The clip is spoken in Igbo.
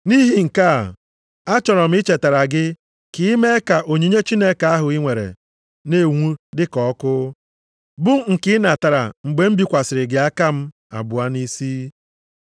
Nʼihi nke a, achọrọ m ichetara gị ka i mee ka onyinye Chineke ahụ i nwere na-enwu dị ka ọkụ, bụ nke i natara mgbe m bikwasịrị gị aka m abụọ nʼisi.